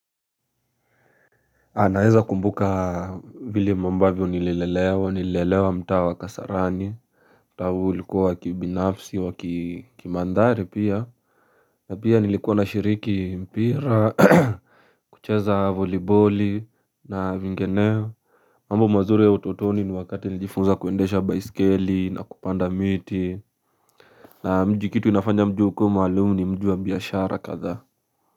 Anaeza kumbuka vile ambavyo nililelewa nililelewa mtaa wa kasarani. Mtau ulikuwa kibinafsi wakimandhari pia na pia nilikuwa na shiriki mpira. Kucheza voliboli na vingineo. Mambo mazuri ya utotoni ni wakati nijifunza kuendesha baisikeli na kupanda miti na mji kitu inafanya mji ukuwe maalum ni mji wa biashara kadhaa.